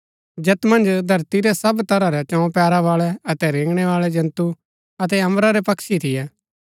जैत मन्ज धरती रै सब तरह रै चौं पैरा बाळै अतै रेगणैवाळै जन्तु अतै अम्बरा रै पक्षी थियै